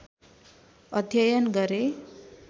अध्ययन गरे